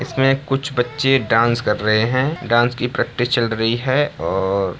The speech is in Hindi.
इसमें कुछ बच्चे डांस कर रहे हैं डांस की प्रैक्टिस चल रही है और --